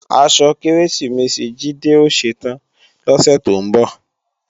Aṣọ Kérésìmesì Jídé ó ṣetán lọ́sè tó ń bọ̀